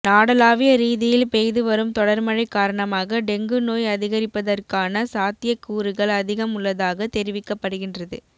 நாடளாவிய ரீதியில் பெய்து வரும் தொடர் மழை காரணமாக டெங்கு நோய் அதிகரிப்பதற்கான சாத்தியக்கூறுகள் அதிகம் உள்ளதாக தெரிவிக்கப்படுகின்றது